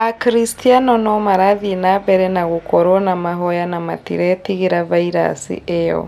Akristiano no marathiĩ nambere na gũkorwo na mahoya na matiretigĩra vairasi ĩyo